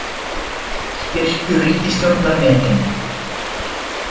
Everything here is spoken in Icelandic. Styrkur ríkisstjórnar metinn